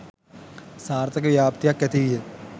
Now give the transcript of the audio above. සාර්ථක ව්‍යාප්තියක් ඇතිවිය.